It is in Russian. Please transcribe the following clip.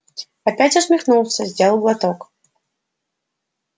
опять усмехнулся сделал глоток